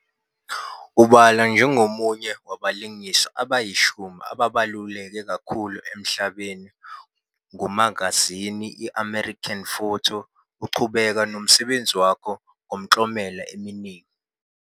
Ubalwa njengomunye wabalingiswa abayishumi ababaluleke kakhulu emhlabeni ngumagazini i-American Photo, uqhubeka nomsebenzi wakhe ngemiklomelo eminingi.